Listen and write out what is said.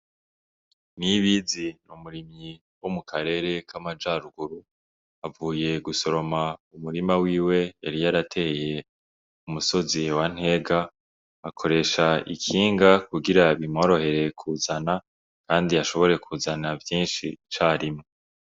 Niyibizi ni umurimyi wo mu karere k'amaja ruguru, avuye gusoroma umurima wiwe yari yarateye ku musozi wa Ntega, akoresha ikinga kugira bimworohere kuzana kandi ashobore kuzana vyinshi icarimwe.